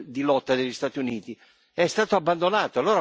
di lotta degli Stati Uniti, è stato abbandonato.